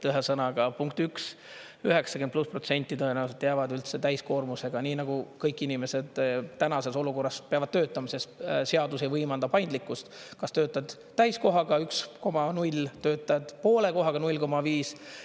Ühesõnaga punkt üks, 90+% tõenäoliselt jäävad üldse täiskoormusega, nii nagu kõik inimesed tänases olukorras peavad töötama, sest seadus ei võimalda paindlikkust, kas töötad täiskohaga, 1,0, töötad poole kohaga, 0,5.